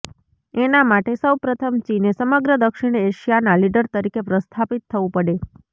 એના માટે સૌ પ્રથમ ચીને સમગ્ર દક્ષિણ એશિયાના લીડર તરીકે પ્રસ્થાપિત થવું પડે